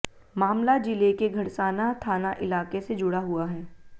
मामला जिले के घड़साना थाना इलाके से जुड़ा हुआ है